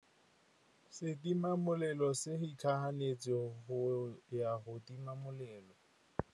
Setima molelô se itlhaganêtse go ya go tima molelô.